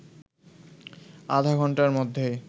আধা ঘন্টার মধ্যেই